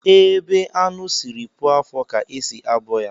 Ebe anụ sịrị puo afọ ka e si abọ ya